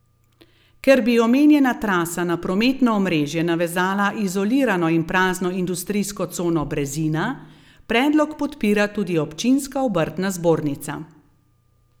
Ker bi omenjena trasa na prometno omrežje navezala izolirano in prazno industrijsko cono Brezina, predlog podpira tudi občinska obrtna zbornica.